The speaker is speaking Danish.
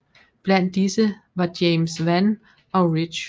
Blandt disse var James Vann og Ridge